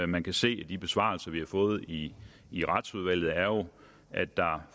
man kan se af de besvarelser vi har fået i i retsudvalget er jo at der